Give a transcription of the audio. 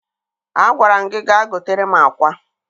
Agwara m gị gaa gotere m akwá!